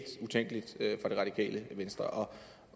utænkeligt for det radikale venstre